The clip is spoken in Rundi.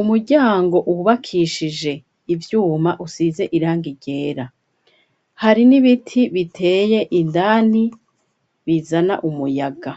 umuryango wubakishije ivyuma usize irangi ryera. Hari n'ibiti biteye indani bizana umuyaga.